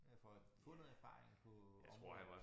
Ja for at få noget erfaring på området